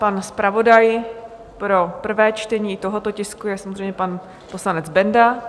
Pan zpravodaj pro prvé čtení tohoto tisku je samozřejmě pan poslanec Benda.